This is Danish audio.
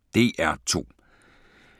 DR2